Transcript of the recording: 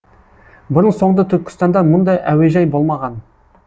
бұрын соңды түркістанда мұндай әуежай болмаған